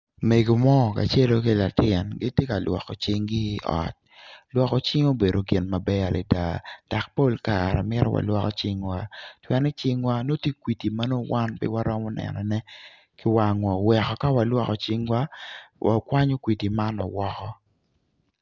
Mego mo kacelu ki latin tye ka lwoko cingi i ot lwoko cing obedo gin maber adada dok pol kare mito walwoko cingwa